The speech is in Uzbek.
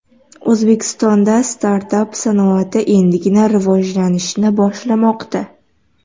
O‘zbekistonda startap sanoati endigina rivojlanishni boshlamoqda.